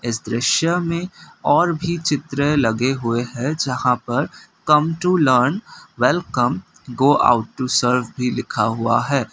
इस दृश्य में और भी चित्र लगे हुए है जहां पर come to learn welcome go out to serve भी लिखा हुआ है।